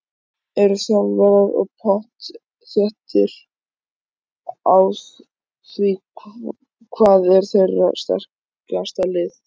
Eru þjálfararnir pottþéttir á því hvað er þeirra sterkasta lið?